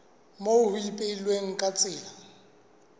moo ho ipehilweng ka tsela